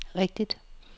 rigtigt